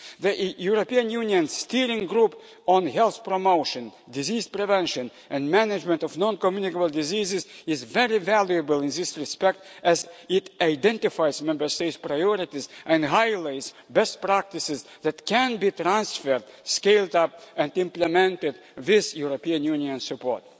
The European Union Steering Group on Health Promotion, Disease Prevention and Management of Non-Communicable Diseases is very valuable in this respect as it identifies Member States' priorities and highlights best practices that can be transferred, scaled up and implemented with European Union support.